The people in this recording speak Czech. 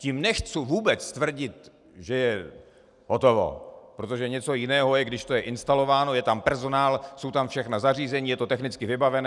Tím nechci vůbec tvrdit, že je hotovo, protože něco jiného je, když to je instalováno, je tam personál, jsou tam všechna zařízení, je to technicky vybavené.